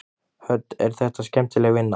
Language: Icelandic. Hödd: Er þetta skemmtileg vinna?